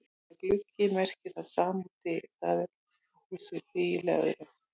Orðið gluggi merkir það sama og dyr, það er op á húsi, bíl eða öðru.